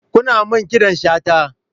Kunna min ƙidan shata.